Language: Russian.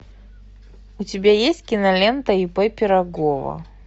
у тебя есть кинолента ип пирогова